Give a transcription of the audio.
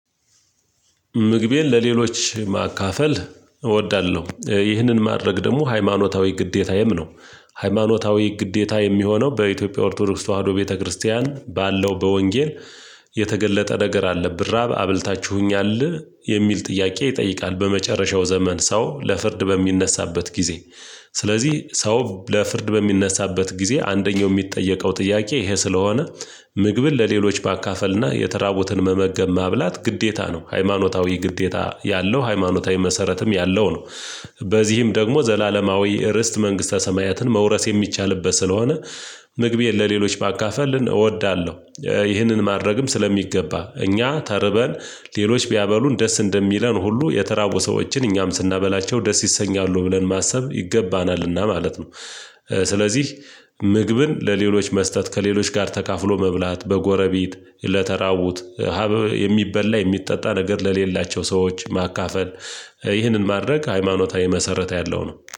ምግቤን ለሌሎች ማካፈል እወዳለሁ ይህንን ማድረግ ደግሞ ሃይማኖታዊ ግዴታዬም ነው። ሃይማኖታዊ ግዴታ የሚሆነው በኢትዮጵያ ኦርቶዶክስ ተዋህዶ ቤተክርስቲያን ባለው በወንጌል የተገለጠ ነገር አለ ብራብ አብልታችሁኛል የሚል ጥያቄ ይጠይቃል በመጨረሻው ዘመን ሰው ለፍርድ በሚነሳበት ጊዜ። ስለዚህ ሰው ለፍርድ በሚነሳበት ጊዜ አንደኛው የሚጠየቀው ጥያቄ ይሄ ስለሆነ ምግብን ለሌሎች ማካፈልና የተራቡትን መመገብ ማብላት ግዴታ ነው ሃይማኖታዊ ግዴታ ያለው ሃይማኖታዊ መሰረትም ያለው ነው። በዚህም ደግሞ ዘላለማዊ ርስት መንግስተ ሰማያትን መውረስ የሚቻልበት ስለሆነ። ምግቤን ለሌሎች ባካፈልን እወዳለሁ። ይህንን ማድረግም ስለሚገባ እኛ ተርበን ሌሎች ቢያበሉን ደስ እንደሚለን ሁሉ የተራቡ ሰዎችን እኛም ስናበላቸው ደስ ይሰኛሉ ብለን ማሰብ ይገባናልና ማለት ነው። ስለዚህ ምግብን ለሌሎች መስጠት ከሌሎች ጋር ተካፍሎ መብላት በጎረቤት ለተራቡት አበ የሚበላ የሚጠጣ ነገር ለሌላቸው ሰዎች ማካፈል። ይህንን ማድረግ ሃይማኖታዊ መሰረት ያለው ነው